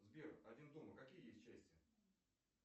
сбер один дома какие есть части